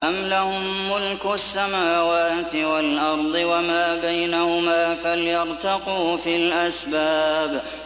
أَمْ لَهُم مُّلْكُ السَّمَاوَاتِ وَالْأَرْضِ وَمَا بَيْنَهُمَا ۖ فَلْيَرْتَقُوا فِي الْأَسْبَابِ